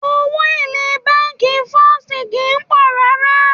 Owó èlé bánkì First kìí pọ̀ rárá.